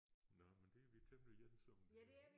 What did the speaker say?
Nåh men det er vi temmelig ens om